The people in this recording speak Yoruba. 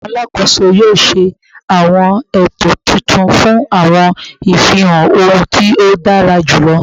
Awọn alakoso yoo ṣe awọn eto titun fun awọn ifihan ohun ti o dara julọ